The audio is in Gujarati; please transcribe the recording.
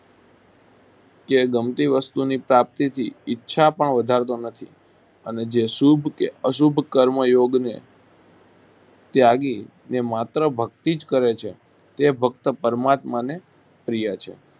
કે ગમતી વસ્તુની પ્રાપ્તીથી ઈચ્છા પણ વધારતો નથી અને જે શુભ કે અશુભ કર્મ યોગને ત્યાગીને માત્ર ભક્તિ જ કરે છે તે ભક્ત પરમાત્માને પ્રિય છે